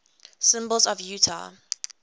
symbols of utah